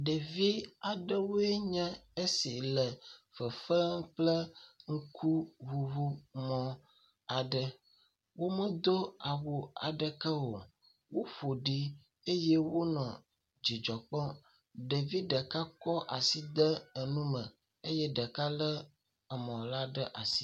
Ɖevi aɖewoe nye esi le fefee kple ŋkuŋuŋu mɔ aɖe, womedo awu aɖeke o, woƒoɖi eye wonɔ dzidzɔ kpɔm. Ɖevi ɖeka kɔ asi de enume eye ɖeka kɔ emɔ la ɖe asi.